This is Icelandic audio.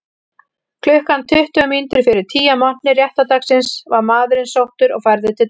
Klukkan tuttugu mínútur fyrir tíu að morgni réttardagsins var maðurinn sóttur og færður til dóms.